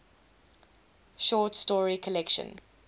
short story collection